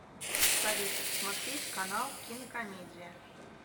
салют посмотреть канал кинокомедия